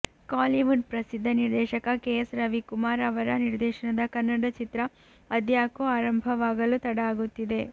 ಕಾಲಿವುಡ್ ಪ್ರಸಿದ್ಧ ನಿರ್ದೇಶಕ ಕೆ ಎಸ್ ರವಿಕುಮಾರ್ ಅವರ ನಿರ್ದೇಶನದ ಕನ್ನಡ ಚಿತ್ರ ಅದ್ಯಾಕೋ ಆರಂಭವಾಗಲು ತಡ ಆಗುತ್ತಿದೆ